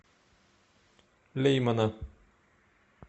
леймана